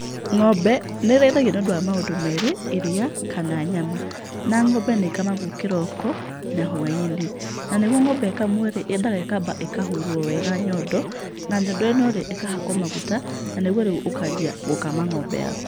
Ng'ombe nĩ ĩrĩthagio nĩ ũndũ wa maũndũ merĩ; iria kana nyama. Na ng'ombe nĩ ĩkamagwo kĩroko, na hwai-inĩ. Na nĩguo ng'ombe ĩkamwo rĩ, yendaga ĩkamba ĩkahurwo wega nyondo, na nyondo ĩno rĩ, ĩkahakwo maguta na nĩguo rĩu ũkanjia gũkama ng'ombe yaku.